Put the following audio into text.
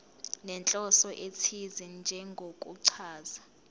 nenhloso ethize njengokuchaza